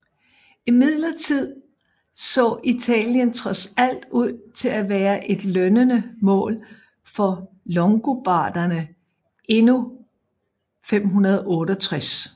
Imidlertid så Italien trods alt ud til at være et lønnende mål for longobarderne endnu 568